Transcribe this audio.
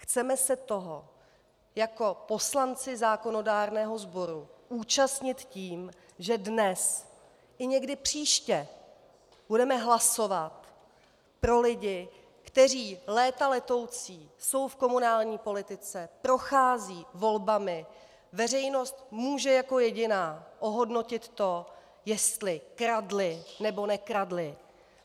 Chceme se toho jako poslanci zákonodárného sboru účastnit tím, že dnes i někdy příště budeme hlasovat pro lidi, kteří léta letoucí jsou v komunální politice, procházejí volbami, veřejnost může jako jediná ohodnotit to, jestli kradli, nebo nekradli.